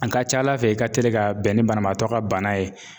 An ka ca Ala fɛ i ka teli ka bɛn ni banabaatɔ ka bana ye.